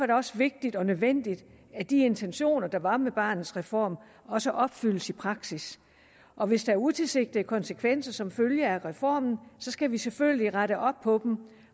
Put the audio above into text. det også vigtigt og nødvendigt at de intentioner der var med barnets reform også opfyldes i praksis og hvis der er utilsigtede konsekvenser som følge af reformen skal vi selvfølgelig rette op på dem